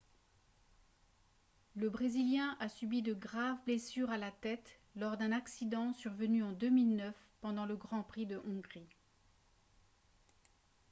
le brésilien a subi de graves blessures à la tête lors d'un accident survenu en 2009 pendant le gp de hongrie